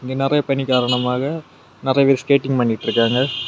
நெறைய பனி காரணமாக நெறைய பேர் ஸ்கேட்டிங் பண்ணிட்டுருக்காங்க .]